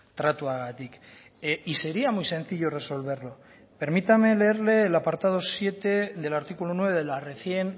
tratuagatik y sería muy sencillo resolverlo permítame leerle el apartado siete del artículo nueve de la recién